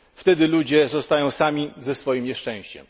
Wtedy ludzie zostają sami ze swoim nieszczęściem.